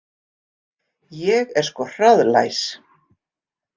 Ég er sko hraðlæs